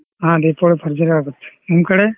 ಹಾ ದೀಪಾವಳಿ ಭರ್ಜರಿ ಆಗುತ್ತೆ ನಿಮ್ ಕಡೆ?